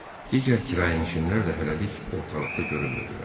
Digər kirayənişinlər də hələlik ortalıqda görünmürdülər.